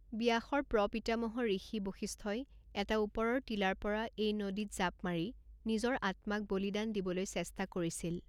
ব্যাসৰ প্ৰপিতামহ ঋষি বশিষ্ঠই এটা ওপৰৰ টিলাৰ পৰা এই নদীত জাঁপ মাৰি নিজৰ আত্মাক বলিদান দিবলৈ চেষ্টা কৰিছিল।